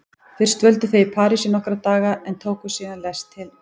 Fyrst dvöldu þau í París í nokkra daga en tóku síðan lest til